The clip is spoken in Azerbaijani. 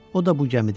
O da bu gəmidə idi.